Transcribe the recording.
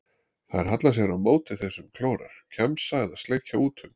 Þær halla sér á móti þeim sem klórar, kjamsa eða sleikja út um.